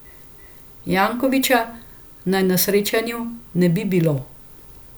Jankovića naj na srečanju ne bi bilo.